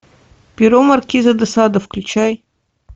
перо маркиза де сада включай